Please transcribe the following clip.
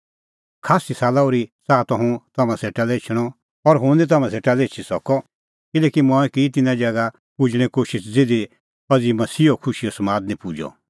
खास्सी साला ओर्ही च़ाहा त हुंह तम्हां सेटा लै एछणअ और हुंह तम्हां सेटा लै एछी सकअ किल्हैकि मंऐं की तिन्नां ज़ैगा पुजणें कोशिश ज़िधी अज़ी मसीहो खुशीओ समाद निं पुजअ